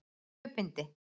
Tvö bindi.